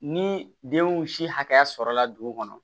Ni denw si hakɛya sɔrɔla dugu kɔnɔ